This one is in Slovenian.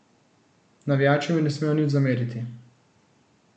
Navijači mi ne smejo nič zameriti.